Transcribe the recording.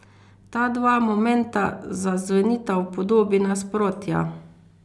Ta dva momenta zazvenita v podobi nasprotja.